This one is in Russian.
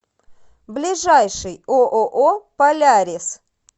ближайший ооо полярис